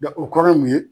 o kɔrɔ ye mun ye